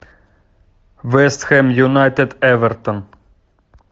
вест хэм юнайтед эвертон